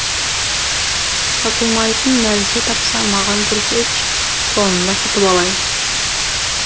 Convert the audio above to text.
сатылмайтын нәрсе тапсаң маған көрсетші соны да сатып алайын